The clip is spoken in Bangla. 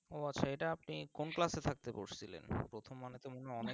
ও আচ্ছা এটা আপনি কোন class এ থাকতে পড়ছিলেন, প্রথম মানুষের মুখে অনেক